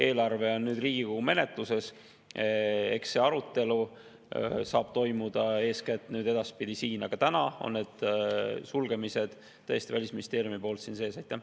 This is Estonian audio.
Eelarve on nüüd Riigikogu menetluses, eks see arutelu saab edaspidi toimuda eeskätt siin, aga praegu on need sulgemised Välisministeeriumi ettepanekul tõesti siin sees.